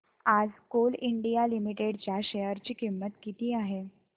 आज coal India limited च्या share ची किंमत किती आहे